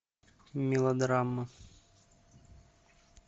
мелодрама